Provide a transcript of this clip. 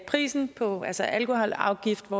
prisen altså alkoholafgiften